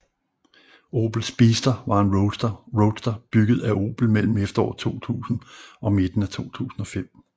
Opel Speedster var en roadster bygget af Opel mellem efteråret 2000 og midten af 2005